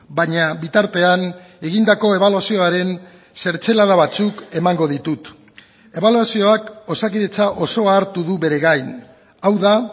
baina bitartean egindako ebaluazioaren zertzelada batzuk emango ditut ebaluazioak osakidetza osoa hartu du bere gain hau da